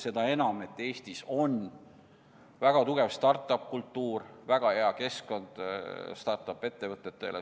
Seda enam, et Eestis on väga arenenud start-up kultuur, väga hea keskkond start-up ettevõtetele.